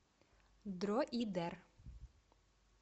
дроидер